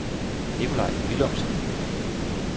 Nicolaj Villumsen